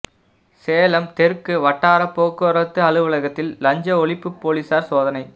சேலம் தெற்கு வட்டாரப் போக்குவரத்து அலுவலகத்தில் லஞ்ச ஒழிப்புப் போலீஸாா் சோதனை